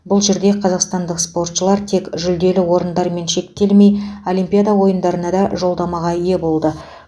бұл жерде қазақстандық спортшылар тек жүлделі орындармен шектелмей олимпиада ойындарына да жолдамаға ие болды